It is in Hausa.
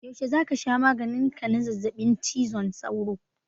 Yaushe za ka sha maganin ka na zazzaɓin cizon sauro?